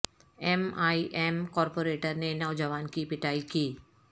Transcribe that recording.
M I M corporator نے نوجوان کی پیٹائی کی